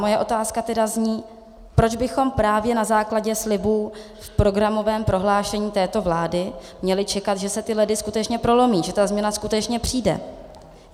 Moje otázka tedy zní: Proč bychom právě na základě slibů v programovém prohlášení této vlády měli čekat, že se ty ledy skutečně prolomí, že ta změna skutečně přijde?